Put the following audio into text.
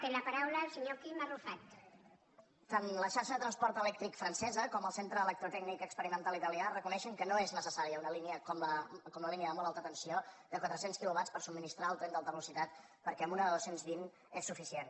tant la xarxa de transport elèctric francesa com el centre electrotècnic experimental italià reconeixen que no és necessària una línia com la línia de molt alta tensió de quatre cents quilowatts per subministrar al tren d’alta velocitat perquè amb una de dos cents i vint és suficient